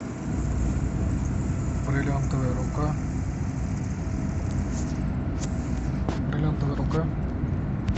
бриллиантовая рука бриллиантовая рука